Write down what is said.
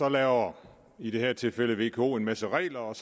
laver i det her tilfælde vko en masse regler og